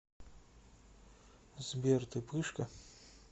сбер ты пышка